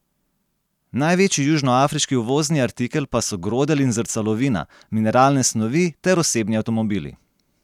Največji južnoafriški uvozni artikel pa so grodelj in zrcalovina, mineralne snovi ter osebni avtomobili.